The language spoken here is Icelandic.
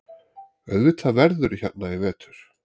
Auðvitað verðurðu hérna í vetur.